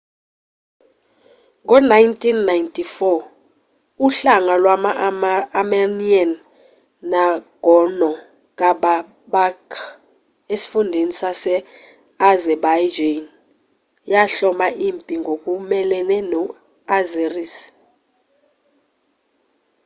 ngo-1994 uhlanga lwama-amernian nagorno-karabakh esifundeni sase-azerbaijan yahloma impi ngokumelene no-azeris